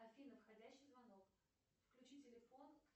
афина входящий звонок включи телефон